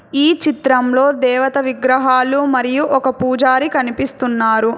ఈ చిత్రంలో దేవత విగ్రహాలు మరియు ఒక పూజారి కనిపిస్తున్నారు.